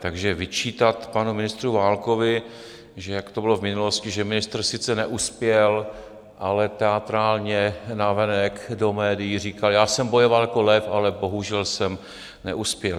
Takže vyčítat panu ministru Válkovi, že jak to bylo v minulosti, že ministr sice neuspěl, ale teatrálně navenek do médií říkal: já jsem bojoval jako lev, ale bohužel jsem neuspěl.